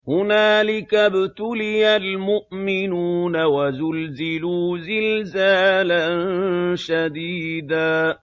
هُنَالِكَ ابْتُلِيَ الْمُؤْمِنُونَ وَزُلْزِلُوا زِلْزَالًا شَدِيدًا